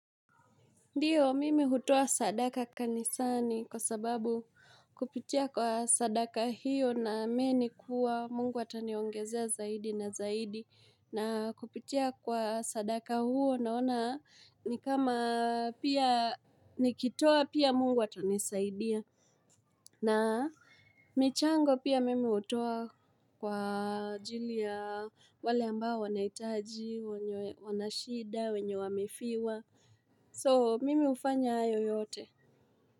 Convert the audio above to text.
Ndio, mimi hutoa sadaka kanisani kwa sababu kupitia kwa sadaka hiyo na amini kua mungu ataniongezea zaidi na zaidi. Na kupitia kwa sadaka huo naona ni kama pia nikitoa pia mungu atanisaidia. Na michango pia mimi hutoa kwa ajili ya wale ambao wanahitaji, wenye shida, wenye wamefiwa. So, mimi hufanya hayo yote.